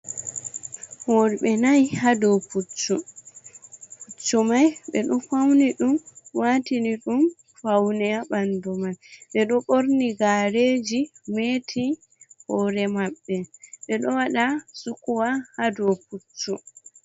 Worɓe nayi haa dow puccu, puccu may ɓe ɗo fawni ɗum, waatini ɗum pawne haa ɓanndu may. Ɓe ɗo ɓorni gaareeji, meeti hoore maɓɓe, ɓe ɗo waɗa sukuwa, haa dow puccu.